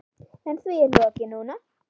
En því er lokið núna.